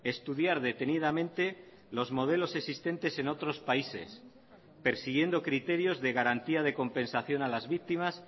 estudiar detenidamente los modelos existentes en otros países persiguiendo criterios de garantía de compensación a las víctimas